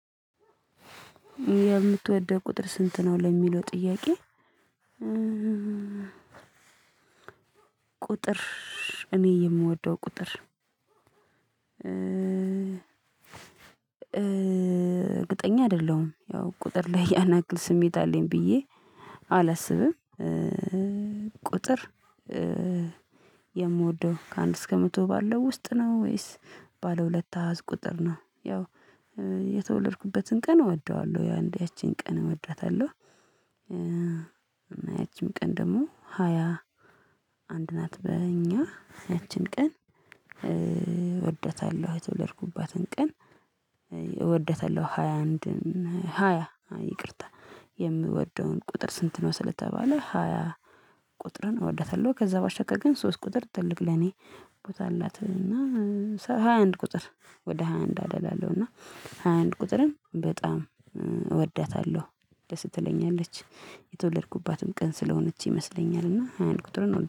የምትወደው ቁጥር ስንት ነው ለሚለው ጥያቄ? ቁጥር እኔ የምወደው ቁጥር እርግጠኛ አይደለሁም ያው ቁጥር ላይ ያንያክል ስሜት አለኝ ብዬ አላስብም። ቁጥር የምወደው ከአንድ እስከ መቶ ባለው ውስጥ ነው ወይስ ባለ ሁለት አዝ ቁጥር ነው? ያው የተወለድኩበትን ቀን እወደዋለሁ ያቺን ቀን እወደታለሁ። ያቺም ቀን ደግሞ ሃያ አንድ ናት በእኛ ያቺን ቀን እወደታለሁ የተወለድኩባትን ቀን እወደታለሁ። ሃያ አንድ ሃያ ይቅርታ የምወደውን ቁጥር ስንት ነው? ስለተባለ ሃያ ቁጥርን እወዳታለሁ ከዛ ባሸቀር ግን ሶስት ቁጥር ትልቅ ለኔ ቦታ አላት። እና ሃያ አንድ ቁጥር ወደ ሃያ አንድ አደላ አለው እና ሃያ አንድ ቁጥርም በጣም እወዳታለሁ ደስ ትለኛለች የተወለድኩባትም ቀን ስለሆነች ይመስለኛልና ሃያ አንድ ቁጥርን